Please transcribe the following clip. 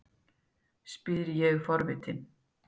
spyr ég forvitin.